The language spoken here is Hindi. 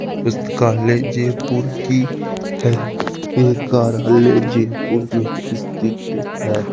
पुस्तकालय जयपुर की है ये कार्यालय जयपुर में स्थित है।